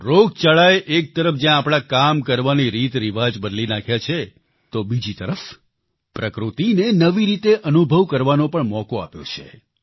રોગચાળાએ એક તરફ જ્યાં આપણા કામ કરવાની રીતરિવાજ બદલી નાખ્યા છે તો બીજી તરફ પ્રકૃતિને નવી રીતે અનુભવ કરવાનો પણ મોકો આપ્યો છે